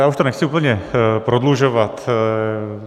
Já už to nechci úplně prodlužovat.